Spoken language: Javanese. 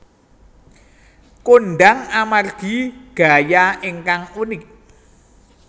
kondhang amargi gaya ingkang unik